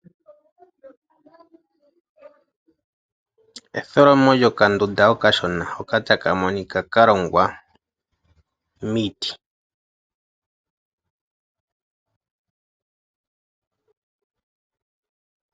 Etholomo lyo kandunda okashona hoka taka monika kalongwa miiti.